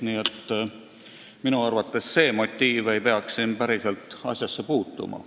Nii et minu arvates ei peaks see motiiv päriselt asjasse puutuma.